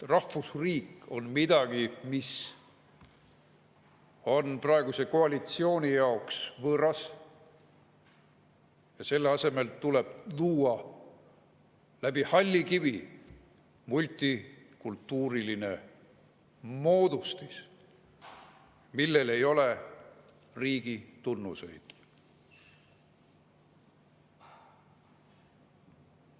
Rahvusriik on midagi, mis on praeguse koalitsiooni jaoks võõras, ja selle asemel tuleb luua läbi halli kivi multikultuuriline moodustis, millel ei ole riigi tunnuseid.